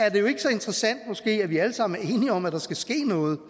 interessant måske at vi alle sammen er enige om at der skal ske noget